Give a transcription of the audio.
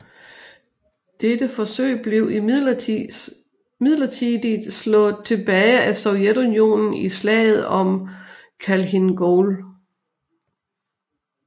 Dette forsøg blev imidlertid slået tilbage af Sovjetunionen i Slaget om Khalkhin Gol